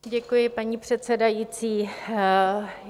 Děkuji, paní předsedající.